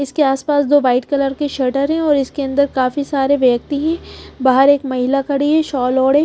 इसके आसपास दो वाइट कलर के शटर है और इसके अंदर काफी सारे व्यक्ति हैं बाहर एक महिला खड़ी है शॉल ओढ़े।